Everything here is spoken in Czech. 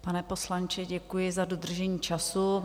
Pane poslanče, děkuji za dodržení času.